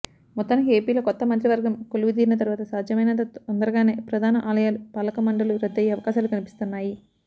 మొత్తానికి ఏపీలో కొత్త మంత్రివర్గం కొలువుదీరిన తరువాత సాధ్యమైనంత తొందరగానే ప్రధాన ఆలయాల పాలకమండళ్లు రద్దయ్యే అవకాశాలు కనిపిస్తున్నాయి